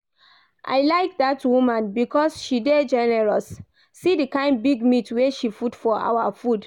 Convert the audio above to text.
I like dat woman because she dey generous. See the kyn big meat wey she put for our food